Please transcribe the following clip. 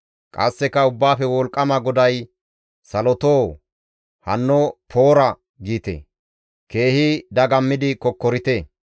Qasseka Ubbaafe Wolqqama GODAY, «Salotoo, ‹Hanno Poora!› giite; keehi dagammidi kokkorite!